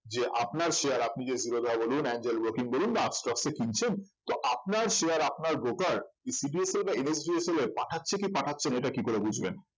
যে আপনার share আপনি যে জিরোধা বলুন এঞ্জেল ব্রোকিং বলুন বা আপস্টক্স এ কিনছেন তো আপনার share আপনার broker CDSL বা NSDL এ পাঠাচ্ছে কি পাঠাচ্ছে না এটা কি করে বুঝবেন